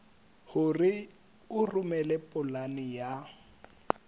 hore o romele polane ya